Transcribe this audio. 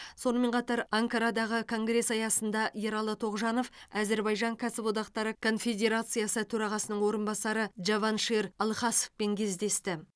сонымен қатар анкарадағы конгресс аясында ералы тоғжанов әзірбайжан кәсіподақтары конфедерациясы төрағасының орынбасары джаваншир алхасовпен кездесті